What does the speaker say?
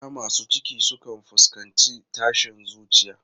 Mata masu ciki sukan fuskanci tashin zuciya.